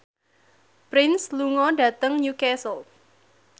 Prince lunga dhateng Newcastle